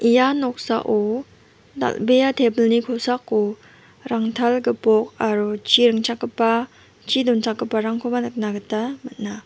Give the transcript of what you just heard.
ia noksao dal·bea tebilni kosako rangtal gipok aro chi ring·chakgipa chi donchakgiparangkoba nikna gita man·a.